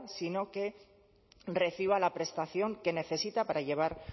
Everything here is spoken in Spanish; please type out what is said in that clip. sino que reciba la prestación que necesita para llevar